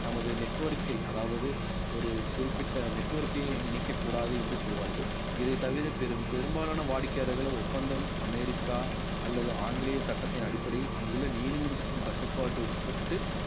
தமது network ஐ அதாவது ஒரு குறிப்பிட்ட network ஐயும் இணைக்கக் கூடாது என்று சொல்வார்கள் இது இதைத் தவிர பெரும்~ பெரும்பாலான வாடிக்கையாளர்களோட ஒப்பந்தம் அமெரிக்கா அல்லது ஆங்கிலேய சட்டத்தின் அடிப்படையில் அங்குள்ள நீதிமன்றத்தின் கட்டுப்பாட்டுக்கு உட்பட்டு